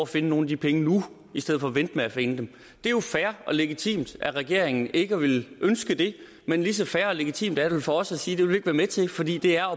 finde nogle af de penge nu i stedet for at vente med at finde dem det er jo fair og legitimt af regeringen ikke at ville ønske det men lige så fair og legitimt er det vel for os at sige det vil vi med til fordi det er